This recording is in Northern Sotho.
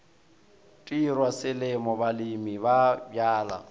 tirwa selemo balemi ba bjala